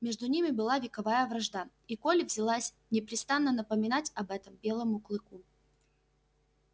между ними была вековая вражда и колли взялась непрестанно напоминать об этом белому клыку